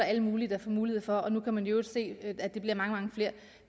alle mulige der får mulighed for det og at nu kan man i øvrigt se at at der bliver mange mange flere